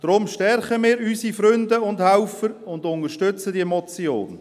Deshalb stärken wir unsere Freunde und Helfer und unterstützen diese Motion.